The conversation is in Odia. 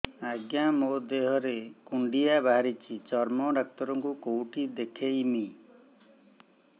ଆଜ୍ଞା ମୋ ଦେହ ରେ କୁଣ୍ଡିଆ ବାହାରିଛି ଚର୍ମ ଡାକ୍ତର ଙ୍କୁ କେଉଁଠି ଦେଖେଇମି